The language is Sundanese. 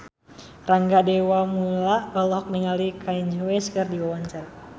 Rangga Dewamoela olohok ningali Kanye West keur diwawancara